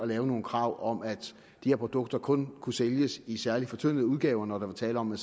lave nogle krav om at de her produkter kun kunne sælges i særlig fortyndede udgaver når der var tale om